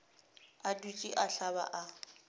a dutše a hlaba a